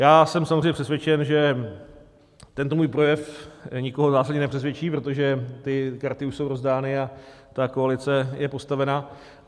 Já jsem samozřejmě přesvědčen, že tento můj projev nikoho zásadně nepřesvědčí, protože ty karty už jsou rozdány a ta koalice je postavena.